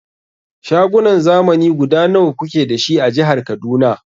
Shagunan zamani guda nawa kuke dashi a jihar Kaduna?